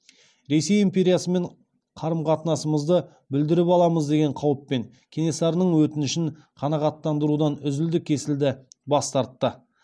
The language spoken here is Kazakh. ресей империясымен қарым қатынасымызды бүлдіріп аламыз деген қауіппен кенесарының өтінішін қанағаттандырудан үзілді кесілді бас тартты